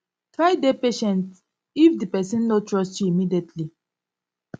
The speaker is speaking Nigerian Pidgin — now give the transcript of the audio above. try dey patient if di person no trust you immediately